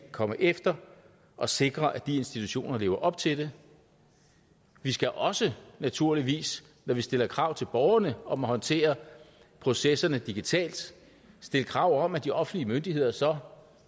komme efter og sikre at de institutioner lever op til det vi skal også naturligvis når vi stiller krav til borgerne om at håndtere processerne digitalt stille krav om at de offentlige myndigheder så